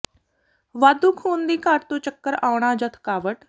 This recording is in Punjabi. ਵਾਧੂ ਖੂਨ ਦੀ ਘਾਟ ਤੋਂ ਚੱਕਰ ਆਉਣਾ ਜਾਂ ਥਕਾਵਟ